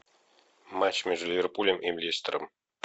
матч между ливерпулем и лестером